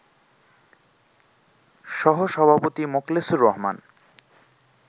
সহ-সভাপতি মোকলেছুর রহমান